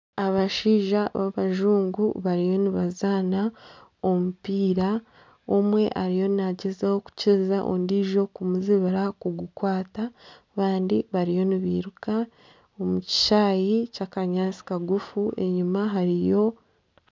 Abashaija b'abazungu bariyo nibazana omupiira, omwe ariyo nagyezaho kukiriza ondijo kumuzibira kugukwata abandi bariyo nibeiruka omu kishayi ky'akanyaantsi kagufu .